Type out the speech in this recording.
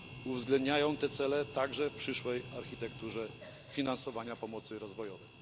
oraz uwzględnić te cele także w przyszłej architekturze finansowania pomocy rozwojowej.